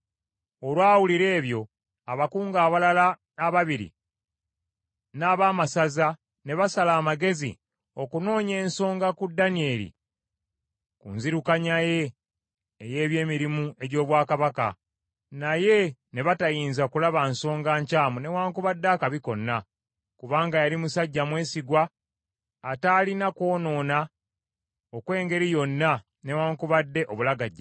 Olwawulira ebyo, abakungu abalala ababiri n’abaamasaza ne basala amagezi okunoonya ensonga ku Danyeri ku nzirukanya ye ey’ebyemirimu egy’obwakabaka, naye ne batayinza kulaba nsonga nkyamu newaakubadde akabi konna, kubanga yali musajja mwesigwa ataalina kwonoona okw’engeri yonna newaakubadde obulagajjavu.